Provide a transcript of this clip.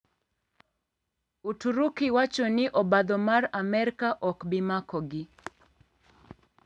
Uturuki wacho ni obadho mar Amerka ok bi makogi,